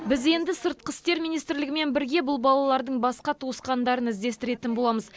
біз енді сыртқы істер министрлігімен бірге бұл балалардың басқа туысқандарын іздестіретін боламыз